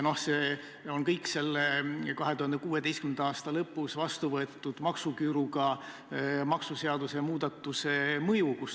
See on kõik 2016. aasta lõpus vastuvõetud maksuküüruga maksuseaduse muudatuse mõju.